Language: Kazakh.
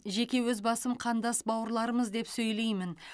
жеке өз басым қандас бауырларымыз деп сөйлеймін